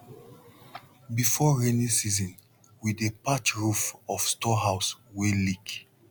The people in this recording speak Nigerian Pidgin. before rainy season we dey patch roof of storehouse wey leak